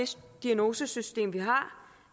diagnosesystem vi har